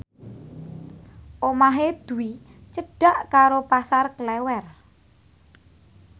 omahe Dwi cedhak karo Pasar Klewer